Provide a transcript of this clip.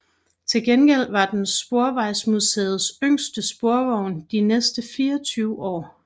Til gengæld var den Sporvejsmuseets yngste sporvogn de næste 24 år